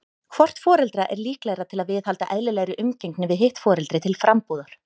Hvort foreldra er líklegra til að viðhalda eðlilegri umgengni við hitt foreldri til frambúðar?